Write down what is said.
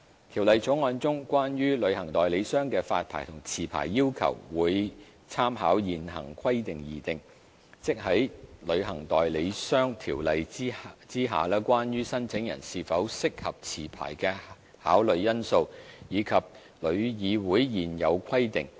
《條例草案》中關於旅行代理商的發牌和續牌要求會參考現行規定而訂，即在《旅行代理商條例》之下關於申請人是否適合持牌的考慮因素，以及旅議會現有規定。